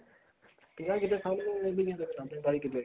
ਭਈਆ ਕਿਵੇਂ ਸਾਂਭ ਲੂਗਾ ਬਾਈ ਕਿੱਲੇ